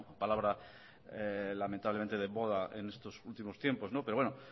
palabra lamentablemente de moda en estos últimos tiempos pero bueno